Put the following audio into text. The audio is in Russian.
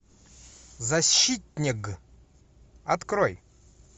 защитнег открой